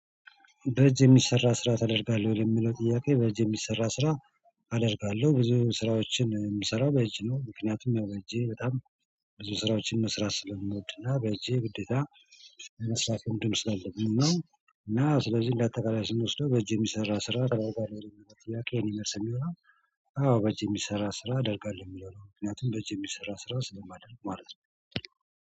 በእጅ የሚሰራ ስራ ታደርጋለሁ ለሚለው ጥያቄ በእጅ የሚሰራ ስራ አደርጋለሁ ብዙ ስራዎችን የምሰራው በእጅ ነው። ምክንያቱም ያው በእጅ በጣም ብዙ ስራዎችን መስራት ስለምንወድና በእጅ ግዴታ መስራት እንዲሁም ስለአለብኝ። እና ስለዚህ እንደ አጠቃላይ ስንወስደው በእጄ የሚሰራ ስራ በራሱ ጋር የሚያደርግ። ትላካዬን አዎ በእጅ የሚሰራ ስራ አደርጋለሁ የሚለው ነው። ምክንያቱም በእጅ የሚሰራ ስራ ስለማደርግ ማለት ነው።